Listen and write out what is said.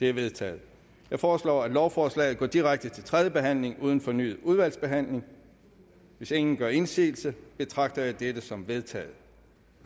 er vedtaget jeg foreslår at lovforslaget går direkte til tredje behandling uden fornyet udvalgsbehandling hvis ingen gør indsigelse betragter jeg dette som vedtaget